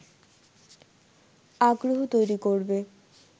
আগ্রহ তৈরি করবে